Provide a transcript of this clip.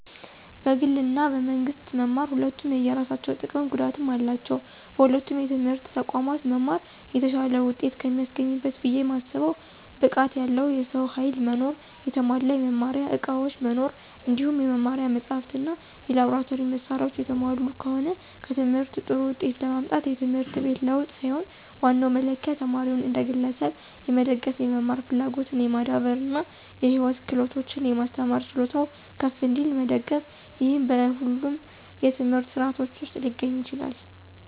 በግል እና በመንግስት መማር ሁለቱም የየራሳቸው ጥቀምም ጉዳትም አላቸው። በሁለቱም የትምህርት ተቋማት መማር የተሻለ ውጤት ከሚያስገኝበት ብየ ማስበው ብቃት ያለው የሰው ኃይል መኖር፣ የተሟላ የመማሪያ ዕቃዎች መኖር እንዲሁም የመማሪያ መጻሕፍት እና የላብራቶሪ መሳሪያዎች የተሟሉ ከሆነ። በትምህርት ጥሩ ውጤት ለማምጣት የትምህርት ቤት ለውጥ ሳይሆን ዋናው መለኪያ ተማሪውን እንደ ግለሰብ የመደገፍ፣ የመማር ፍላጎትን የማዳበር እና የህይወት ክህሎቶችን የማስተማር ችሎታው ከፍ እንዲል መደገፍ፤ ይህም በሁለቱም የትምህርት ሥርዓቶች ውስጥ ሊገኝ ይችላል።